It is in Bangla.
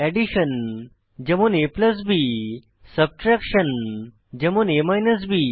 এডিশন যেমন ab সাবট্রেকশন যেমন a বি